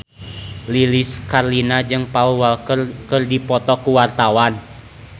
Lilis Karlina jeung Paul Walker keur dipoto ku wartawan